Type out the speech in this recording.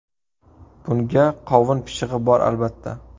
Bunga qovun pishig‘i bor, albatta.